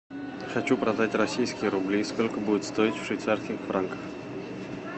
хочу продать российские рубли сколько будет стоить в швейцарских франках